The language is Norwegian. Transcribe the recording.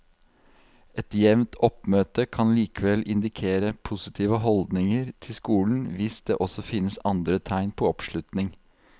Et jevnt oppmøte kan likevel indikere positive holdninger til skolen hvis det også finnes andre tegn på oppslutning.